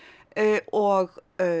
og